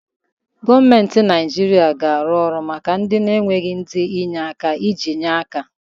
Gọọmenti Naijiria ga-arụ ụlọ maka ndị na-enweghị ndi enye-aka iji nyere aka